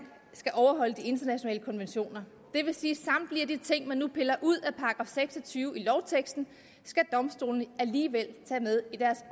skal overholde de internationale konventioner det vil sige at de ting man nu piller ud af § seks og tyve i lovteksten skal domstolene alligevel tage med i deres